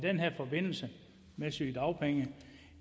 forbindelse med sygedagpenge